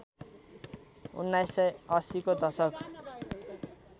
१९८० को दशक